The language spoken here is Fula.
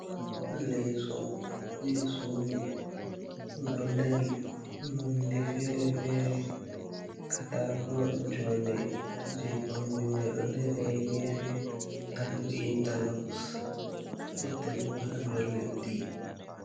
Leso je sudu ɗo dari nonde fere-fere katako jonde je kombi mai do dari ha gefe tado interloks gotel bo ha daw leddi.